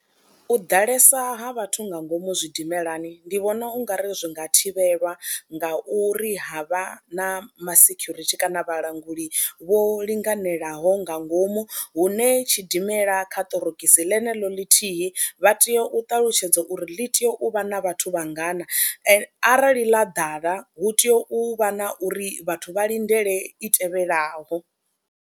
U ḓalesa ha vhathu nga ngomu zwidimelani ndi vhona u nga ri zwi nga thivhelwa ngauri ha vha na masekhurithi kana vhalanguli vho linganelaho nga ngomu hune tshidimela kha ṱorokisi ḽeneḽo ḽithihi vha tea u ṱalutshedza uri ḽi tea u vha na vhathu vha ngana ende arali ḽa ḓala hu tea u vha na uri vhathu vha lindele i tevhelaho.